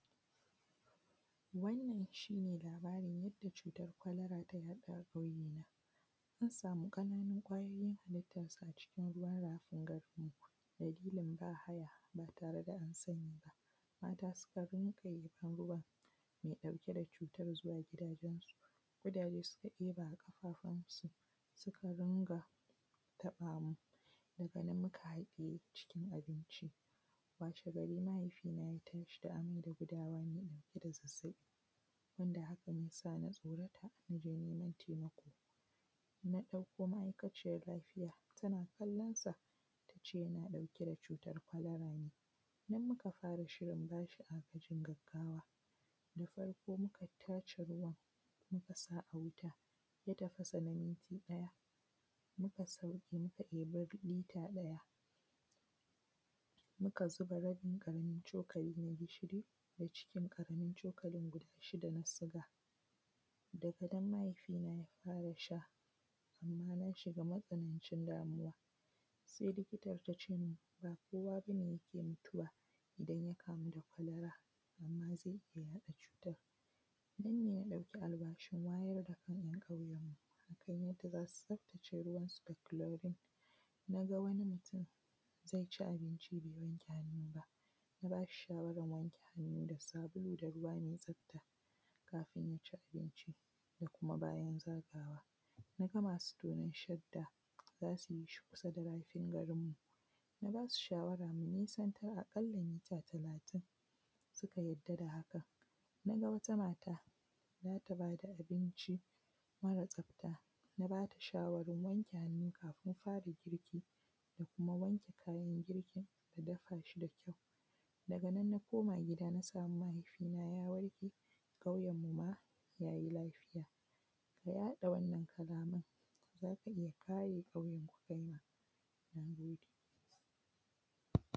Wannan shine labarin cutar ta faru a ƙauye na. An samu ƙananun kwayoyin haliitansu a cikin ruwa mara korafi. Wakilan bahaya ba tareda ansani ba. mata sukan rinƙa iban ruwan mai ɗauke da cutar zuwa gidajensu kudaje suka tsira ƙafafunsu suka rinƙa faɗawa daganan muka haɗiye cikin abinci. Washegari mahaifina ya tashi da amai da gudawa mai ɗauke da zazzaɓi, haka ya samu tsorata mukaje naiman taimako. Wata ma aikaciyan lafiyan laiya tana kallonsa tace yana ɗauke da cutar kwalara ne. Mu muka fara bashi agajin gaggawa. Da farko muka tace ruwan mukasa a wuta ya tafasa na minta ɗaya, muka sauke muka eba lita ɗaya Muka zuba rabin ƙaramin cokalin gishiri da cikin ƙaramin colakin guda shida na siga daganan ne sai ya farashi, lallai munshiga matsanancin damuwa. Sai likitan tacemun ba kowa bane yake mutuwa idan yakamu da kwalera, amma zai iyya yaɗa cutan. Nanne na ɗauki alwashin wayar dakan ‘ya’ kauyenmu dasu tsaftace ruwansu da kulorin, naga wani mutun yaci abinci bai wanke hannu ban a bashi shawaran wanke hannu da sabulu da ruwa mai tsafta kafin yaci ambinci da kuma bayan zagawa. Naga masu tonan shadda zasuyi kusa da rafin garinmu na basu shawara munisantar a ƙalla mita talatin suka yadda da haka. Naga wata mata zata bada abinci mara tsafta na bata shawaran wanke hannu kafin faragirki da kuma wanke kayan girkin da dafashi da kyau, daganan na koma gida na samu mahaifina ya warke kauyenmu ma yayi lafiya, na haɗa wannan kalaman zaka iyya kare kauyenku kaima. Nagode.